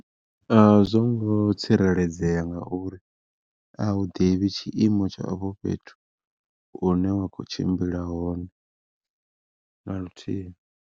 A zwo ngo tsireledzea ngauri a u ḓivhi tshiimo tsha afho fhethu hune wa khou tshimbila hone naluthihi.